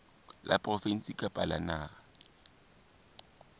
la provinse kapa la naha